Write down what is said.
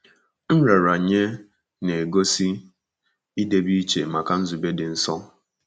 Nraranye na-egosi idebe iche maka nzube dị nsọ.